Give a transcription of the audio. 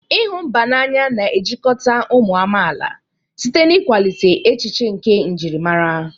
ịhụ mba n'anya na-ejikọta ụmụ amaala site n'ịkwalite echiche nke njirimara.